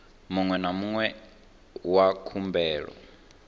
muṅwe na muṅwe wa khumbelo